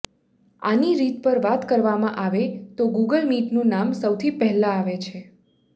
આની રીત પર વાત કરવામાં આવે ત ગુગલ મિટનુ નામ સૌથી પહેલા આવે છે